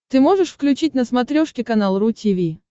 ты можешь включить на смотрешке канал ру ти ви